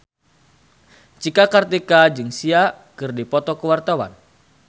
Cika Kartika jeung Sia keur dipoto ku wartawan